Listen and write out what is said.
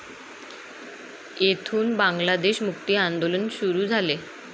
येथून बांगलादेश मुक्ति आंदोलन सुरू झाले.